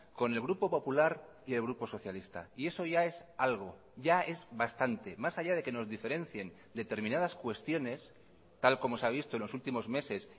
con el grupo popular y el grupo socialista y eso ya es algo ya es bastante más allá de que nos diferencien determinadas cuestiones tal como se ha visto en los últimos meses